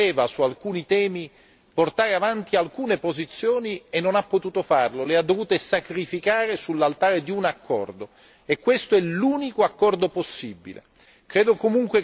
Il Parlamento voleva su alcuni temi portare avanti alcune posizioni e non ha potuto farlo, le ha dovute sacrificare sull'altare di un accordo e questo è l'unico accordo possibile.